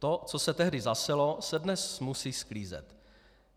To, co se tehdy zaselo, se dnes musí sklízet.